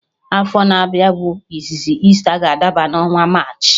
Afọ na-abịa bụ izizi Easter ga adaba n'ọnwa March